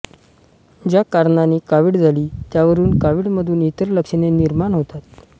ज्या कारणाने कावीळ झाली त्यावरून काविळीमधून इतर लक्षणे निर्माण होतात